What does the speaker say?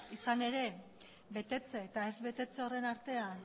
izan ere betetze eta ez betetze horren artean